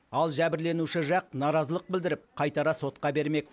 ал жәбірленуші жақ наразылық білдіріп қайтара сотқа бермек